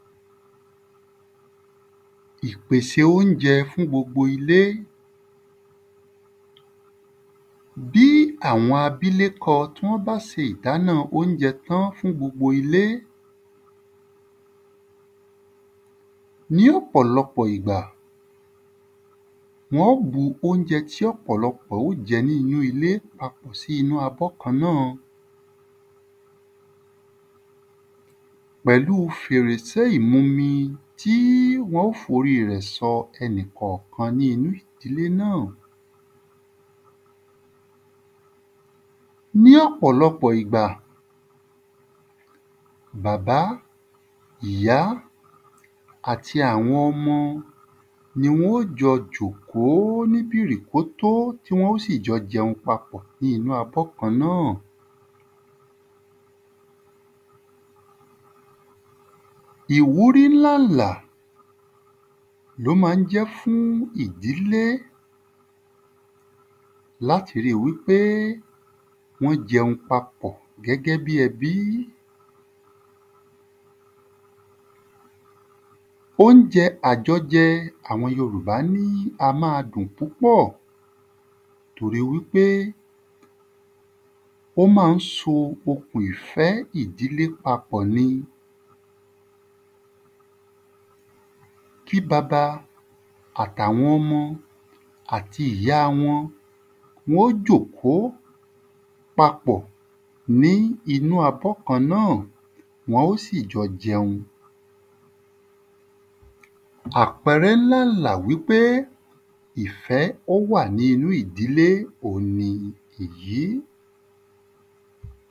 Bí awọn abílekọ tí wọ́n bá se ìdána óunjẹ tán fún gbogbo ilé ní ọ̀pọ̀lọpọ̀ igbà, wọ́n ó bu óunjẹ tí ọ̀pọ̀lọpọ̀ ó jẹ ní inú ilé papọ̀ sí abọ́ kan náà pẹ̀lú fèrèsé ìmumi tí wọ́n ó f’óri rẹ̀ sọ ẹnìkọ̀kan ní inú ìdílé náà Ní ọ̀pọ̀lọpọ̀ igbà, bàbá, ìyá, àti àwọn ọmọ ni wọ́n ó jọ jòkó ní bìrìkótó tí wọn ó sì jọ jẹun papọ̀ ni inú abọ́ kan náà ìwúrí ńlá ǹlà l’ó ma ń jẹ́ fún ìdílé l’áti ri wí pé wọ́n jẹun papọ̀ gẹ́gẹ́ bí ẹbí Óunjẹ àjọjẹ àwọn yorùbá ní a má a dùn púpọ̀ torí wí pé, ó má ń so okùn ìfẹ́ ìdílé papọ̀ ni. Kí baba àt'àwọn ọmọ àti ìyá wọn wọ́n ó jòkó papọ̀ ní inú abọ́ kan náà. Wọn ó sì jọ jẹun Àpẹrẹ ńlá ǹlà wí pé ìfẹ́ ó wà ní inú ìdílé òun ni èyí.